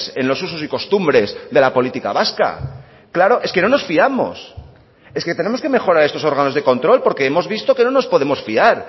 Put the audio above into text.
en los usos y costumbres de la política vasca claro es que no nos fiamos es que tenemos que mejorar estos órganos de control porque hemos visto que no nos podemos fiar